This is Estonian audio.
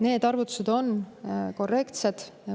Need arvutused on korrektsed.